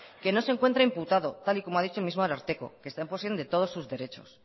que no se encuentra imputado tal y como ha dicho el mismo ararteko que está en posesión de todos sus derechos